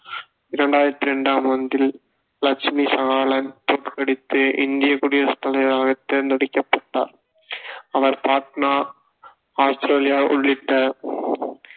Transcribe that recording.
இரண்டாயிரத்தி ரெண்டாம் ஆண்டில் லட்சுமி சாகலை தோற்கடித்து இந்தியக் குடியரசுத் தலைவராக தேர்ந்தெடுக்கப்பட்டார் அவர் பாட்னா ஆஸ்திரேலியா உள்ளிட்ட